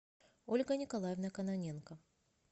ольга николаевна кононенко